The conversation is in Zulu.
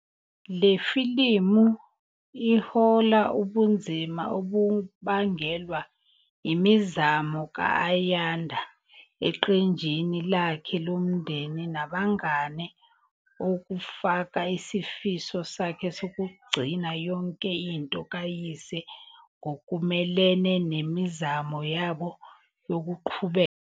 Le filimu ihlola ubunzima obubangelwa imizamo ka-Ayanda eqenjini lakhe lomndeni nabangane okufaka isifiso sakhe sokugcina yonke into kayise ngokumelene nemizamo yabo yokuqhubeka.